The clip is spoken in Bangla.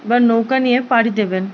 বা নৌকা নিয়ে পাড়ি দেবেন।